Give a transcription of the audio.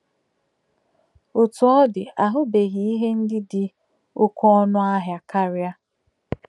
Otú ọ dị, ahụbeghị ihe ndị dị oké ọnụ ahịa karị.